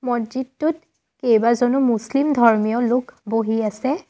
মছজিদটোত কেবাজনো মুছলিম ধৰ্মীয় লোক বহি আছে।